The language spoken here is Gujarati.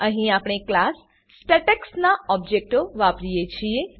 અહીં આપણે ક્લાસ સ્ટેટેક્સ નાં ઓબજેક્ટો બનાવીએ છીએ